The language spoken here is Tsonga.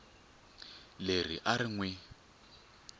leri a ri n wi